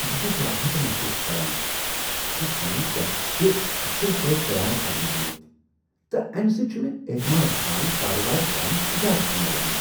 بہٕ چُھس راحت محسوس کران زِ سانہِ ٹیکس چھ اصل پٲٹھۍ تیار كرنہٕ آمٕتۍ، تہٕ امہِ سٕتۍ چُھ مےٚ اعتماد سان كاربار بڈاونُک اجازت میلان۔